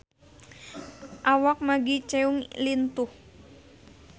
Awak Maggie Cheung lintuh